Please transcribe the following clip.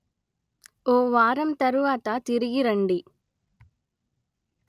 ఓ వారం తరువాత తిరిగి రండి